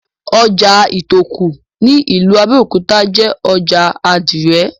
Ojà Ìtòkù ní ìlú Abẹ́òkúta jé ojà àdìrẹ̀.